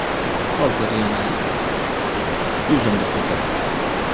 Hozir yana yuzimda ko‘paygan.